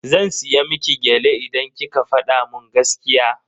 Zan siya miki gyale idan kika fada mun gaskiya.